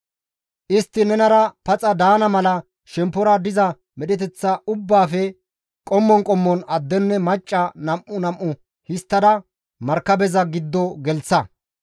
Istti nenara paxa daana mala shemppora diza medheteththa ubbaafe qommon qommon addenne macca nam7u nam7u histtada markabeza giddo gelththa.